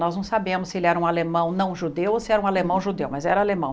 Nós não sabemos se ele era um alemão não judeu ou se era um alemão judeu, mas era alemão.